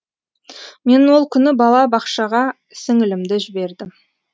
мен ол күні бала бақшаға сіңілімді жібердім